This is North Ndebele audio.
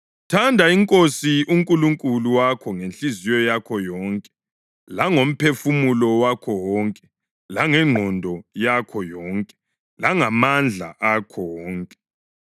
Thanda iNkosi uNkulunkulu wakho ngenhliziyo yakho yonke langomphefumulo wakho wonke langengqondo yakho yonke langamandla akho wonke.’ + 12.30 UDutheronomi 6.4-5